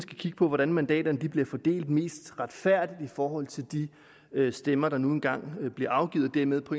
kigge på hvordan mandaterne bliver fordelt mest retfærdigt i forhold til de stemmer der nu engang bliver afgivet og dermed på